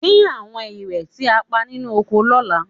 Dín àwọn ìrẹ̀ tí a pa nínú oko lọ́la